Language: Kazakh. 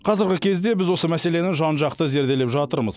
қазіргі кезде біз осы мәселені жан жақты зерделеп жатырмыз